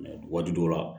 waati dɔw la